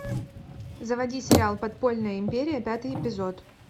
заводи сериал подпольная империя пятый эпизод